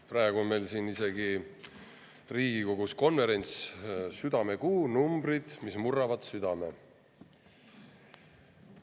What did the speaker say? Praegu on meil siin Riigikogus isegi konverents "Südamekuu: numbrid, mis murravad südame".